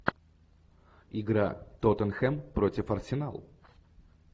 игра тоттенхэм против арсенал